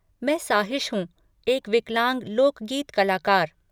मैं साहिश हूँ, एक विकलांग लोकगीत कलाकार।